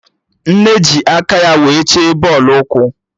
Nnenna ji aka ya wee chee bọọlụ ụkwụ